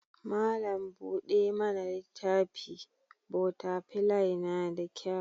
Malam buɗe mana littafi/botafilai yana da kyau.